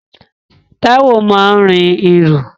Táíwò máa ń rin irú